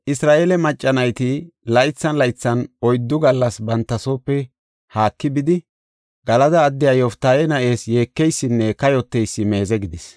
Isra7eele macca nayti laythan laythan oyddu gallas banta soope haaki bidi, Galada addiya Yoftaahe na7ees yeekeysinne kayoteysi meeze gidis.